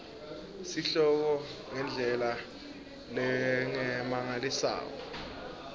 sihloko ngendlela lengemalengiso